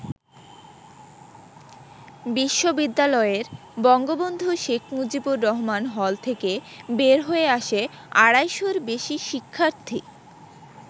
বিশ্ববিদ্যালয়ের বঙ্গবন্ধু শেখ মুজিবুর রহমান হল থেকে বের হয়ে আসে আড়াইশর বেশি শিক্ষার্থী।